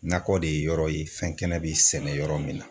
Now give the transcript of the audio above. Nakɔ de ye yɔrɔ ye fɛn kɛnɛ bɛ sɛnɛ yɔrɔ min na.